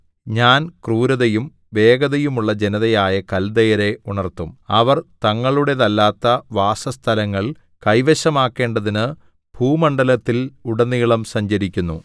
ഞാൻ ക്രൂരതയും വേഗതയുമുള്ള ജനതയായ കല്ദയരെ ഉണർത്തും അവർ തങ്ങളുടേതല്ലാത്ത വാസസ്ഥലങ്ങൾ കൈവശമാക്കേണ്ടതിന് ഭൂമണ്ഡലത്തിൽ ഉടനീളം സഞ്ചരിക്കുന്നു